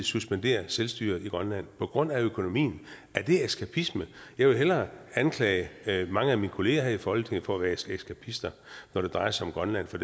suspendere selvstyret i grønland på grund af økonomien er det eskapisme jeg vil hellere anklage mange af mine kollegaer her i folketinget for at være eskapister når det drejer sig om grønland for